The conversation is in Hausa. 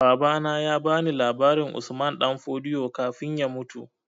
Babana ya ba ni labarin Usman Danfodio kafin ya mutu